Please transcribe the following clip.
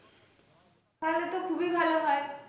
তাহলে তো খুবই ভালো হয়।